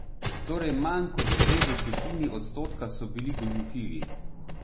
Torej manj kot dve desetini odstotka so bili goljufivi.